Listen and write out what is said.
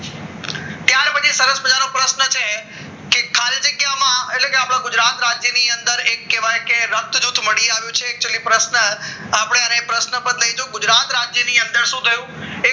એ ખાલી જગ્યાઓમાં એટલે આપણા ગુજરાત રાજ્યની અંદર એ કહેવાય કે રક્ત જૂથ મળી આવ્યું છે આપણને પ્રશ્ન પણ ગુજરાત રાજ્યની અંદર શું થયું